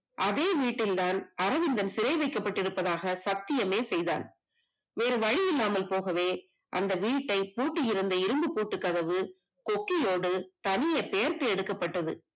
அதே வீட்டில் தான் அரவிந்தன் சிறை வைக்கப்பட்டு இருப்பதாக சத்தியமே செய்தான் வேறு வழியில்லாமல் போக அந்த வீட்டை அந்த வீட்டின் பூட்டி இருந்த இரும்பு பூட்டு கதவு கொக்கியோடு தனி பெயர் எடுக்கப்பட்டது